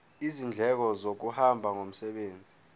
izindleko zokuhamba ngomsebenzi